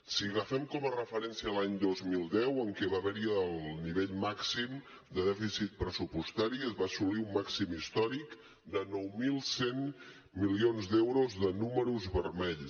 si agafem com a referència l’any dos mil deu en què va haver hi el nivell màxim de dèficit pressupostari es va assolir un màxim històric de nou mil cent milions d’euros de números vermells